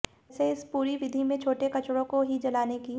वैसे इस पूरी विधि में छोटे कचड़ों को ही जलाने की